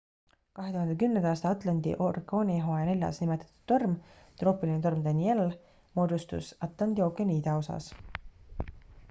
2010 aasta atlanti orkaanihooaja neljas nimetatud torm troopiline torm danielle moodustus atlandi ookeani idaosas